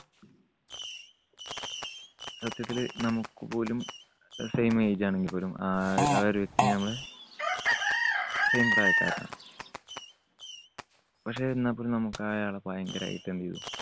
സത്യത്തിൽ നമുക്കുപോലും അഹ് same age ആണെങ്കിൽപോലും ആ, ആ ഒരു വ്യക്തിനെ നമ്മള് same പ്രായക്കാരനാണ്. പക്ഷേ എന്നാൽപ്പോലും നമുക്ക് അയാളെ ഭയങ്കരായിട്ട് എന്ത് ചെയ്‌തു.